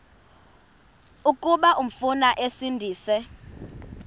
kuba umfana esindise